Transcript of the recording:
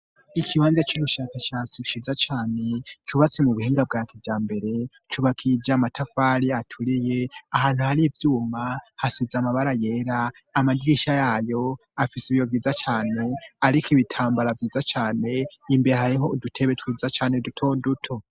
Ikiibanza c'urushakacyasi shiza cane, cubatse mu buhinga bwa kijambere, cubakishije amatafari aturiye, ahantu hari iyuma hasize amabara yera, amadirisha yayo afise ibiyo vyiza cane, ariko ibitambara vyiza cane, imbere hariho udutebe twiza cane duto duto.